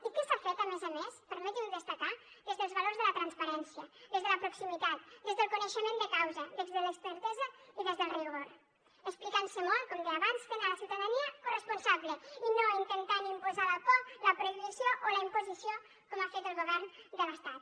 i què s’ha fet a més a més permetin m’ho destacar des dels valors de la transparència des de la proximitat des del coneixement de causa des de l’expertesa i des del rigor explicant se molt com deia abans fent la ciutadania corresponsable i no intentant imposar la por la prohibició o la imposició com ha fet el govern de l’estat